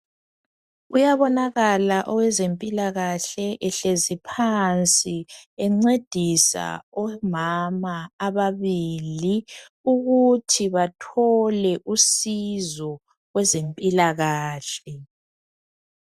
Uyabonakala owezempilakahle ehlezi phansi encedisa omama ababili ukuthi bathole usizo kwezempilakahle.